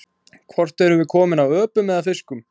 Hvort erum við komin af öpum eða fiskum?